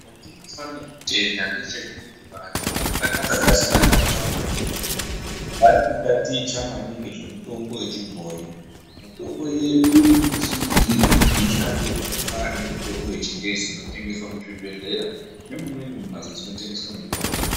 Chandinofane kutenda ndechekuti vantu vatakagarisana navo mumabuya mwedu vari kutaticha naningi zvemutombo vechibhoi. Mitombo yedu irikuda kusimudzirwa kuti ishandevo zvakafanana nemitombo yechingezi inotengeswa muzvibhedhlera nemumweni mumhatso dzinotengeswa mitombo.